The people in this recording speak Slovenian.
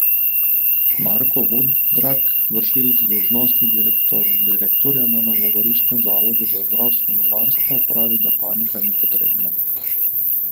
Marko Vudrag, vršilec dolžnosti direktorja na novogoriškem zavodu za zdravstveno varstvo, pravi, da panika ni potrebna.